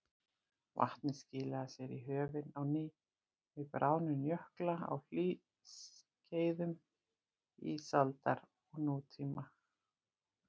Vatnið skilaði sér í höfin á ný við bráðnun jökla á hlýskeiðum ísaldar og nútíma.